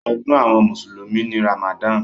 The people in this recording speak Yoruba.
Ọdún àwọn mùsùlùmí ni Ramadan.